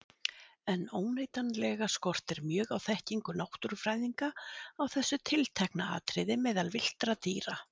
En óneitanlega skortir mjög á þekkingu náttúrufræðinga á þessu tiltekna atriði meðal villtra dýra.